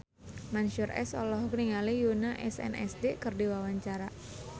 Mansyur S olohok ningali Yoona SNSD keur diwawancara